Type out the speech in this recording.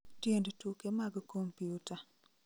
tiend tuke mag kompyuta